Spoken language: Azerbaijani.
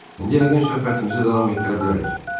İndi yəqin söhbətimizi davam etdirə bilərik.